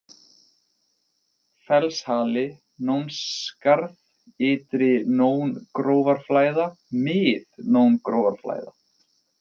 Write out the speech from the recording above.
Fellshali, Nónskarð, Ytri-Nóngrófarflæða, Mið-Nóngrófarflæða